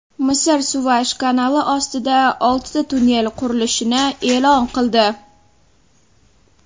Misr Suvaysh kanali ostida oltita tunnel qurilishini e’lon qildi.